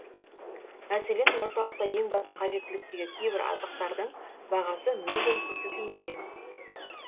мәселен орталықта ең басты қажеттіліктегі кейбір азықтардың бағасы мүлдем көрсетілмеген